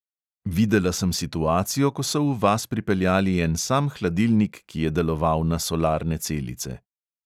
Videla sem situacijo, ko so v vas pripeljali en sam hladilnik, ki je deloval na solarne celice.